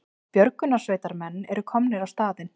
Björgunarsveitarmenn eru komnir á staðinn